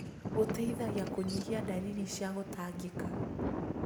Gũteithagia kũnyihia ndariri cia gũtangĩka.